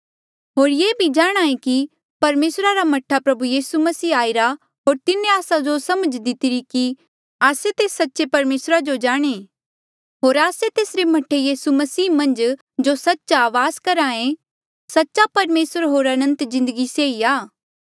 होर ये भी जाणहां ऐें कि परमेसरा रा मह्ठा प्रभु यीसू मसीह आईरा होर तिन्हें आस्सा जो समझ दितिरी कि आस्से तेस सच्चे परमेसरा जो जाणें होर आस्से तेसरे मह्ठे यीसू मसीह मन्झ जो सच्च आ वास करहा ऐें सच्चा परमेसर होर अनंत जिन्दगी से ई आ